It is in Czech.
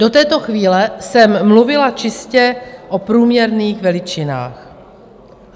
Do této chvíle jsem mluvila čistě o průměrných veličinách.